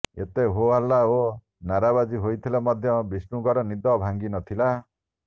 ଏତେ ହୋହାଲ୍ଲା ଓ ନାରାବାଜି ହୋଇଥିଲେ ମଧ୍ୟ ବିଷ୍ଣୁଙ୍କର ନିଦ ଭାଙ୍ଗିନଥିଲା